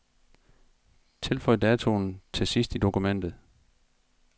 Tilføj datoen til sidst i dokumentet.